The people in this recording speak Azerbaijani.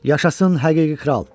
Yaşasın həqiqi kral!